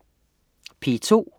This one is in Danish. P2: